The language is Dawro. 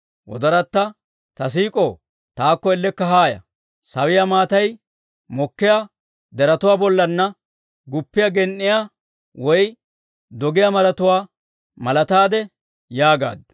Ta siik'ow, taakko ellekka haaya! Sawiyaa maatay mokkiyaa deretuwaa bollaanna, guppiyaa gen"iyaa woy doggiyaa maratuwaa malataade yaagaaddu.